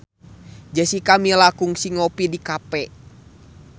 Jessica Milla kungsi ngopi di cafe